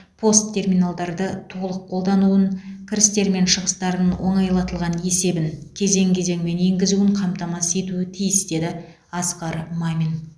пост терминалдарды толық қолдануын кірістер мен шығыстарын оңайлатылған есебін кезең кезеңімен енгізуін қамтамасыз етуі тиіс деді асқар мамин